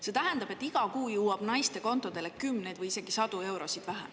See tähendab, et iga kuu jõuab naiste kontodele kümneid või isegi sadu eurosid vähem.